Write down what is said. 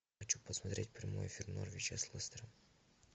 хочу посмотреть прямой эфир норвича с лестером